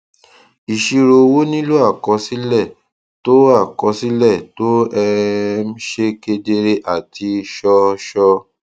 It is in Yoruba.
ìṣirò owó nílò àkọsílẹ tó àkọsílẹ tó um ṣe kedere àti ṣọọṣọ